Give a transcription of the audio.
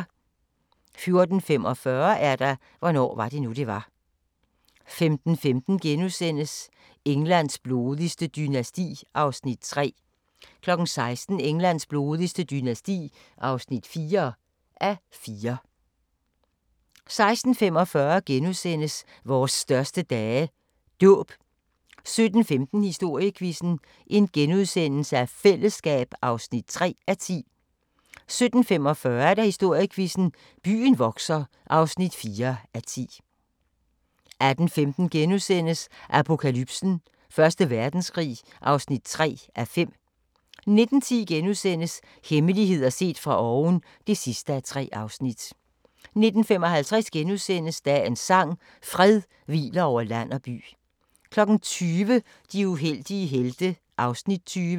14:45: Hvornår var det nu, det var? 15:15: Englands blodigste dynasti (3:4)* 16:00: Englands blodigste dynasti (4:4) 16:45: Vores største dage – Dåb * 17:15: Historiequizzen: Fællesskab (3:10)* 17:45: Historiequizzen: Byen vokser (4:10) 18:15: Apokalypsen: Første Verdenskrig (3:5)* 19:10: Hemmeligheder set fra oven (3:3)* 19:55: Dagens sang: Fred hviler over land og by * 20:00: De uheldige helte (Afs. 20)